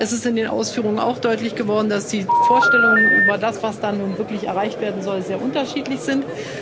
Es ist in den Ausführungen auch deutlich geworden, dass die Vorstellungen über das, was da nun wirklich erreicht werden soll, sehr unterschiedlich sind.